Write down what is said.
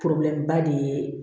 ba de ye